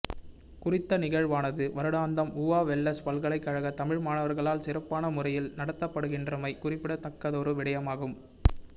குறித்த நிகழ்வானது வருடாந்தம் ஊவா வெல்லஸ்ஸ் பல்கலைக் கழக தமிழ் மாணவர்களால் சிறப்பான முறையில் நடாத்தப்படுகின்றமை குறிப்பிடத்தக்கதொரு விடயமாகும்